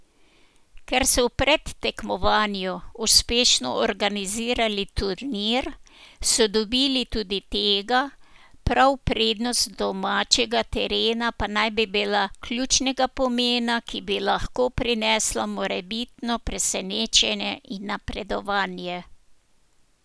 Ker so v predtekmovanju uspešno organizirali turnir, so dobili tudi tega, prav prednost domačega terena pa naj bi bila ključnega pomena, ki bi lahko prinesla morebitno presenečenje in napredovanje.